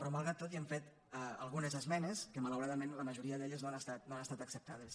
però malgrat tot hi hem fet algunes esmenes que malauradament la majoria d’elles no han estat acceptades